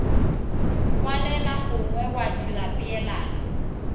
kwalela gongwe wa dira peelano